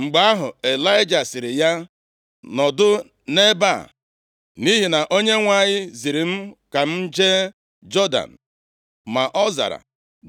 Mgbe ahụ, Ịlaịja sịrị ya, “Nọdụ nʼebe a, nʼihi na Onyenwe anyị ziri m ka m jee Jọdan.” Ma ọ zara,